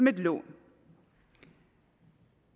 et lån